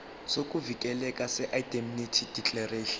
sokuvikeleka seindemnity declaration